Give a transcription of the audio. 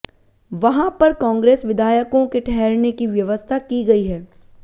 वहां पर कांग्रेस विधायकों के ठहरने की व्यवस्था की गई है